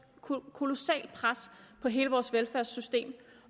kolossalt pres på hele vores velfærdssystem